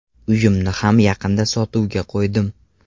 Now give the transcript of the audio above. Uyimni ham yaqinda sotuvga qo‘ydim.